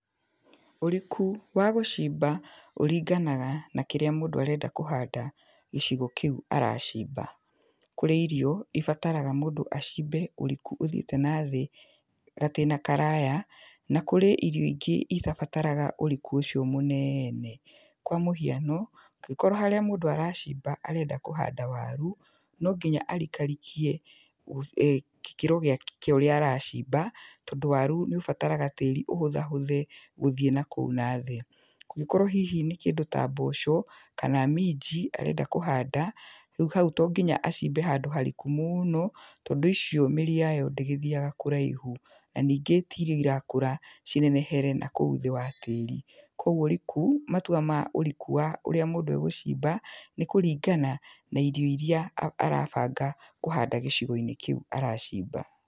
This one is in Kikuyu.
Ũriku wa gũcimba ũringanaga na kĩrĩa mũndũ arenda kũhanda gicigo kĩu aracimba. Kũrĩ irio ibataraga mũndũ acimbe ũriku ũthiĩte nathĩ gatĩna karaya, na kũrĩ irio ingĩ itabataraga ũriku ũcio mũnene. Kwa mũhiano, angĩkorwo harĩa mũndũ aracimba arenda kũhanda waru, no nginya arikarikie gĩkĩro kĩa ũrĩa aracimba tondũ waru nĩ ũbataraga tĩri ũhũthahũthe gũthiĩ nakũu nathĩ. Kũngĩkorwo hihi nĩ kĩndũ ta mboco kana minji arenda kũhanda, rĩu hau to nginya acimbe handũ hariku mũno tondũ icio mĩri yayo ndĩgĩthiaga kũraihu, na ningĩ ti irio irakũra cinenehere nakũu thĩ wa tĩri. Koguo ũriku, matua ma ũriku wa ũrĩa mũndũ e gũcimba, nĩ kũringana na irio iria arabanga kũhanda gĩcigo-inĩ kĩu aracimba.